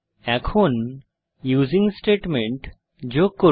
এখন using statement যোগ করুন